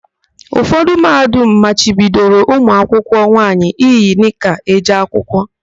Ụfọdụ Mahadum machibidoro ụmụakwụkwọ nwaanyị iyi nịka eje akwụkwọ.